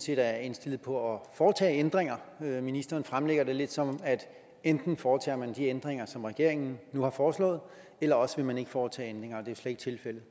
set er indstillet på at foretage ændringer ministeren fremlægger det lidt sådan at enten foretager man de ændringer som regeringen nu har foreslået eller også vil man ikke foretage ændringer slet ikke tilfældet